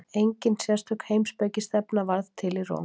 engin sérstök heimspekistefna varð til í róm